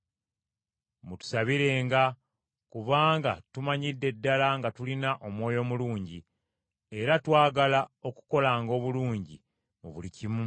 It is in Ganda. Mutusabirenga, kubanga tumanyidde ddala nga tulina omwoyo mulungi, era twagala okukolanga obulungi mu buli kimu.